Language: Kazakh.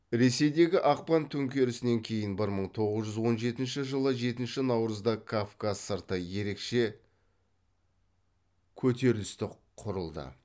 ресейдегі ақпан төңкерісінен кейін бір мың тоғыз жүз он жетінші жылы жетінші наурызда кавказ сырты ерекше көтерісті құрылды